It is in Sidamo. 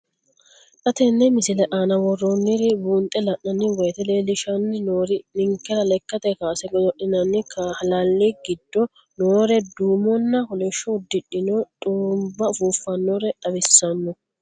Xa tenne missile aana worroonniri buunxe la'nanni woyiite leellishshanni noori ninkera lekkate kaase godo'linanni halalli giddo noore duumonna kolishsho uddidhe xurumba ufuuffannore xawissanno.